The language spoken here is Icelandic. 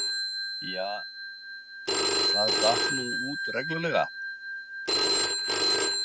Ja, það datt nú út reglulega.